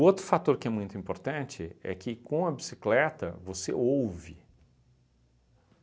outro fator que é muito importante é que com a bicicleta você ouve.